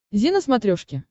зи на смотрешке